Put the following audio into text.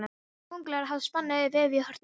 Kóngulær hafa spunnið vefi í hornunum.